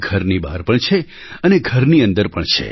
ઘરની બહાર પણ છે અને ઘરની અંદર પણ છે